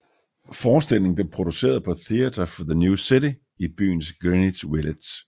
Forestillingen blev produceret på Theater for the New City i byens Greenwich Village